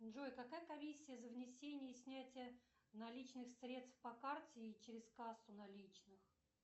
джой какая комиссия за внесение и снятие наличных средств по карте и через кассу наличных